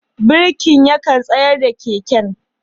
Birkin yakan tsayar da keken.